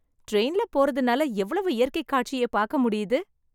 ட்ரெயின்ல போறதுனால எவ்வளவு இயற்கை காட்சியை பாக்க முடியுது.